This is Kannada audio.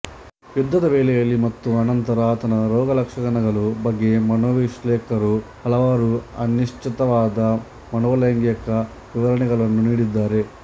ಯುದ್ಧದ ವೇಳೆಯಲ್ಲಿ ಮತ್ತು ಆನಂತರ ಆತನ ರೋಗಲಕ್ಷಣಗಳ ಬಗ್ಗೆ ಮನೋವಿಶ್ಲೇಷಕರು ಹಲವಾರು ಅನಿಶ್ಚಿತವಾದ ಮನೋಲೈಂಗಿಕ ವಿವರಣೆಗಳನ್ನು ನೀಡಿದ್ದಾರೆ